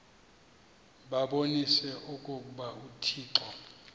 babonise okokuba uthixo